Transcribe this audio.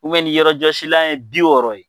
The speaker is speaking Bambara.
nin yɔrɔjɔsilan ye bi wɔɔrɔ ye.